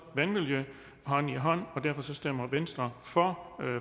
vandmiljø hånd i hånd og derfor stemmer venstre for